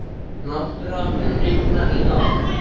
Náttúra, mun rigna í dag?